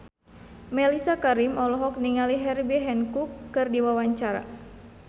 Mellisa Karim olohok ningali Herbie Hancock keur diwawancara